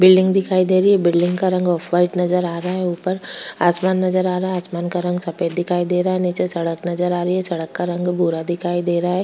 Building दिखाई दे रही है बिल्डिंग का रंग व्हाइट नजर आ रहा है ऊपर आसमान नजर आ रहा है आसमान का रंग सफेद दिखाई दे रहा है नीचे सड़क नजर आ रही है सड़क का रंग भूरा दिखाई दे रहा है।